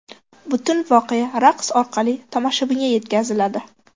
Butun voqea raqs orqali tomoshabinga yetkaziladi.